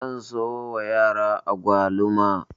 Zan sayo wa yara agwaluma.